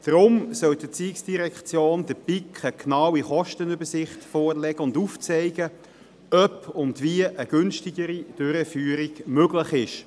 Deshalb soll die ERZ der BiK eine genaue Kostenübersicht vorlegen und aufzeigen, ob und wie eine günstigere Durchführung möglich ist.